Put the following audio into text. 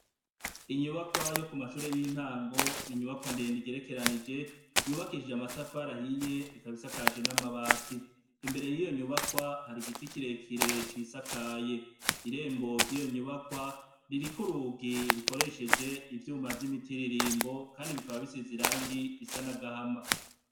Inyubakwa yo kumashure yintango n'inyubakwa ndende igerekeranije yubakishijwe amatafari ahiye ikaba isakajwe n'amabati imbere yiyo nyubakwa hari igiti kirekire cisakaye, irembo ryiyo nyubakwa ririko urugi rukoresheje ivyuma vyimitiririmbo kandi bikaba bisize irangi risa nagahama.